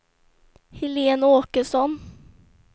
Helén Åkesson